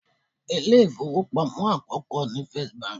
Ilé ìfowópamọ́ àkókò ni First Bank.